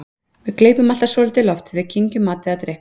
Við gleypum alltaf svolítið loft þegar við kyngjum mat eða drykk.